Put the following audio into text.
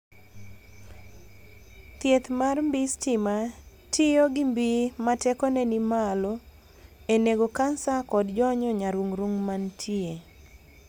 Thieth mar mbii stima tiyo gi mbii ma tekone ni malo e nego kansa kod jonyo nyarung'rung' mantie.